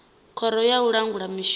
khoro ya u langula mishonga